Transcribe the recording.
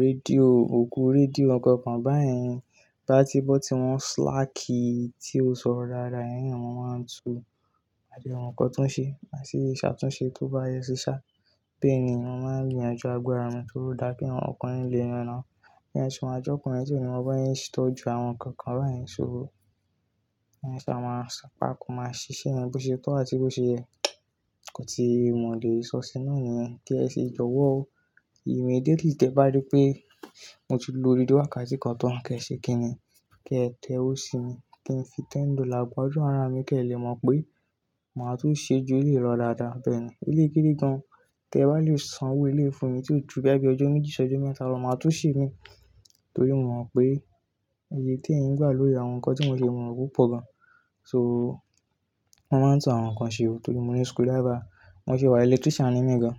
rédíò, òògùn rédíò ọ̀gọ̀ọ̀gùn báyìí bá ti bọ́ tí wọ́n slacky tí o sọ̀rọ̀ rárá, yẹn ni wọ́n máa ń tu adìẹ wọn kọ́túnṣe àti ṣàtúnṣe tó bá yẹ sí ṣá. Bẹ́ẹ̀ ni wọ́n máa ń yanjú agbára wọn tó dáa kí àwọn ọkùnrin lè ràn án. Yẹn sì máa jọ́kùn ẹ́ tí òní ọba yẹn sì tó ju àwọn nǹkan kan báyìí sóho. Yẹn sì máa ṣá, pá kó máa ṣiṣẹ́ ẹ bí ó ṣe tó àti bó ṣe ẹ́. Kò ti mọ̀ lè sọ sínú ni ẹ́, kí ẹ sì jọ̀wọ́ ó. Immediately tí ẹ bá rí pé mo ti lo rédíò wákàtí kan tán, kí ẹ ṣe kí ni? Kí ẹ tẹ́wó si mi. Kí n fi ten dollar gba ọjọ́ àrà mi kí ẹ lè mọ̀ pé màá tó ṣe ju, ó lè rọ̀ dáadáa bẹ́ẹ̀ni. Elékéde gan. Tí ẹ bá lè san owó eléfo mi tí ó ju bí ẹgbẹ́ ọjọ́ méjì ṣọjọ́ mẹ́ta lọ, màá tó ṣe mí torí mo mọ̀ pé èyí tí ẹ̀yin gbà ló yẹ àwọn nǹkan tí mò ṣe mọ̀ rúpọ̀ gan. So wọ́n máa ń tún àwọn nǹkan ṣe o torí mo ní screwdriver, mo sì wà electrician nínú gan.